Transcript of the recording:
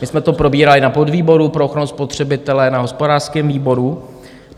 My jsme to probírali na podvýboru pro ochranu spotřebitele na hospodářském výboru.